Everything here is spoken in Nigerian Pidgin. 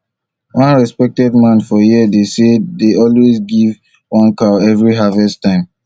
one respected man for here dey here dey always give one cow every harvest time